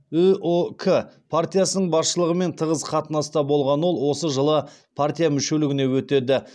үұк партиясының басшылығымен тығыз қатынаста болған ол осы жылы партия мүшелігіне өтеді